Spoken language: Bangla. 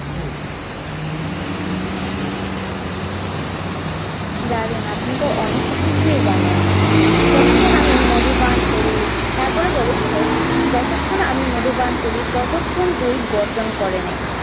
দারুন আপনি তো অনেক কিছুই জানেন। যতক্ষণ আমি মধু পান করি তারপরে বলেছিল যতক্ষণ আমি মধু পান করি ততক্ষণ তুই গর্জন করে নে।